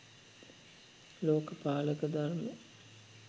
ලෝක පාලක ධර්ම